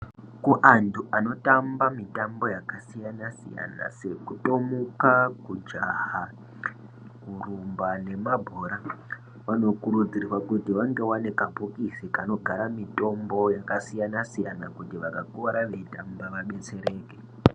Kuantu anotamba mutambo yakasiyana siyana sekutomuka kujaha kurumba nemabhora vanokurudzirwa kuti vange vane kambokisi kanogara mutombo yakasiyana siyana kuti vakakuwara veitamba vabetsereke.